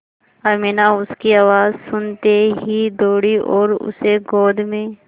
अमीना उसकी आवाज़ सुनते ही दौड़ी और उसे गोद में